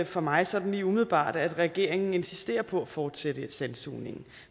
for mig sådan lige umiddelbart at regeringen insisterer på at fortsætte sandsugningen